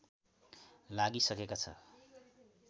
लागिसकेको छ